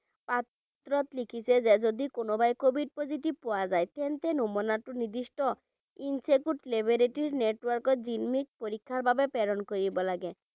পত্ৰত লিখিছে যে যদি কোনোৱাই covid positive পোৱা যায় তেন্তে নমুনাটো নিদিষ্ট insacog laboratory network ত পৰীক্ষাৰ বাবে প্ৰেৰণ কৰিব লাগে।